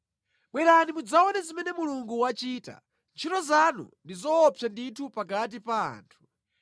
Bwerani mudzaone zimene Mulungu wachita, ntchito zanu ndi zoopsa ndithu pakati pa anthu.